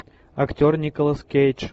актер николас кейдж